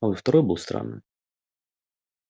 а вот второй был странным